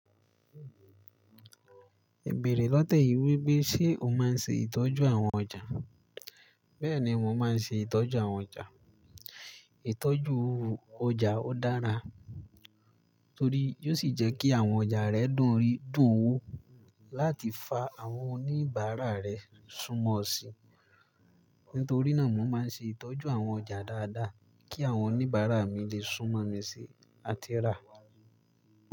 Bẹ̀rẹ̀ lọ́tẹ̀ yìí wípé ṣé o máa ń ṣe ìtọ́jú àwọn ọjà? Bẹ́ẹ̀ni, mò ń má ṣe ìtọ́jú àwọn ọjà. Ìtọ́jú ọjà ó dára torí yóò ṣì jẹ́ kí àwọn ọjà rẹ dùn rí, dùn wó, láti fa àwọn oníbàárà rẹ súnmọ́ ọ sí. Nítorí náà, mò ń ṣe ìtọ́jú àwọn ọjà dáadáa kí àwọn oníbàárà mi lè súnmọ́ mi sí àti rà.